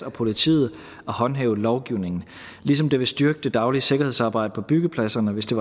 og politiet at håndhæve lovgivningen ligesom det vil styrke det daglige sikkerhedsarbejde på byggepladserne hvis det